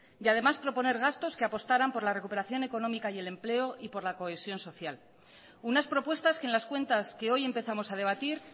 y además proponer gastos que apostaran por la recuperación económica el empleo y por la cohesión social unas propuestas que en las cuentas que hoy empezamos a debatir